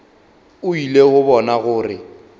o ile go bona gore